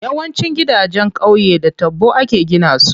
Yawancin gidanjen qauye da taɓo ake gina su.